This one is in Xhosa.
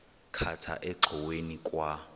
khatha engxoweni kwa